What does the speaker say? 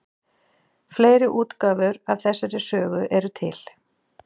Fleiri útgáfur af þessari sögu eru til.